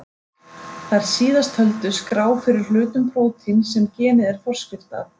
Þær síðast töldu skrá fyrir hlutum prótíns sem genið er forskrift að.